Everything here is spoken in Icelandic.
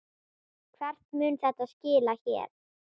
Hvert mun þetta skila mér?